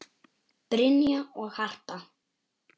Brynja og Harpa.